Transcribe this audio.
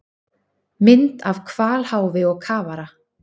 Mynd af hvalháfi og kafara.